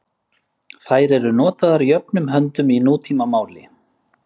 Þær eru notaðar jöfnum höndum í nútímamáli.